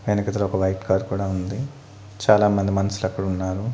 వెనకతల ఒక white car కూడా ఉంది చాలామంది మనుషులు అక్కడ ఉన్నారు.